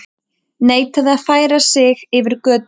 Neitaði að færa sig yfir götu